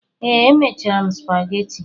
Ee, emechara m spageti.